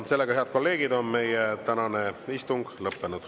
Sellega, head kolleegid, on meie tänane istung lõppenud.